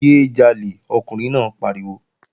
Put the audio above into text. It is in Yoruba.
Yé é jalè! Ọkùnrin náà pariwo!